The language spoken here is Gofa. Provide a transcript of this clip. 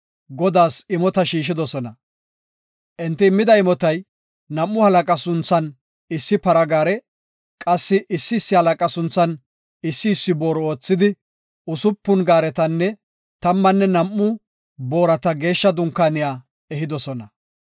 Godaas imota shiishidosona. Enti immida imotay nam7u halaqa sunthan issi para gaare, qassi issi issi halaqa sunthan issi issi booru oothidi, usupun gaaretanne tammanne nam7u boorata Geeshsha Dunkaaniya ehidosona.